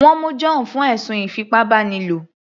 Wọ́n mú John fún ẹ̀sùn ìfipábánilo